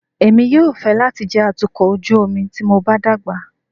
Èmi yóò fẹ́ láti jẹ́ atukọ̀ ojú omi tí mo bá dàgbà.